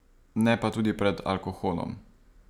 Ne pa tudi pred alkoholom.